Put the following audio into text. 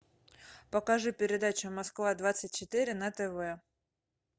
покажи передачу москва двадцать четыре на тв